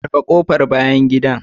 Rufe kofar bayan gida